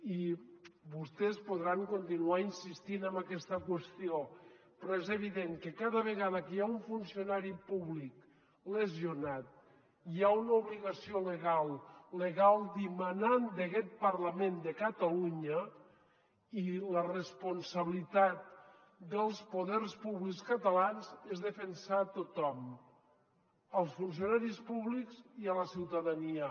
i vostès podran continuar insistint en aquesta qüestió però és evident que cada vegada que hi ha un funcionari públic lesionat hi ha una obligació legal dimanant d’aquest parlament de catalunya i la responsabilitat dels poders públics catalans és defensar tothom els funcionaris públics i la ciutadania